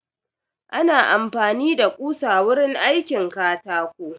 Ana amfani da ƙusa wurin aikin katako